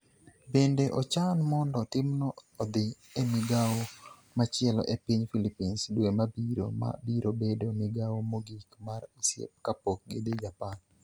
Bende ochan mondo timno odhi e migawo machielo e piny Philippines dwe mabiro, ma biro bedo migawo mogik mar osiep kapok gidhi Japan.